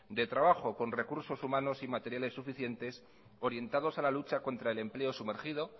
de trabajo con recursos humanos y materiales suficientes orientados a la lucha contra el empleo sumergido